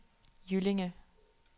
Jyllinge